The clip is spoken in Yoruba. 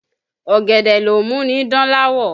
Ọ̀gẹ̀dẹ̀ ló mú ni dán láwọ̀